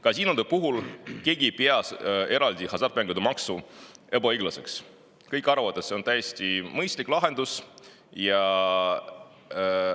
Kasiinode puhul ei pea keegi eraldi hasartmängumaksu ebaõiglaseks, kõik arvavad, et see on täiesti mõistlik lahendus.